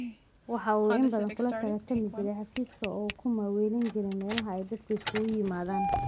Waxa uu in badan kula tartami jiray xafiiska oo uu ku maaweelin jiray meelaha ay dadku isugu yimaadaan.